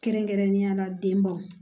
Kɛrɛnkɛrɛnnenya la denbaw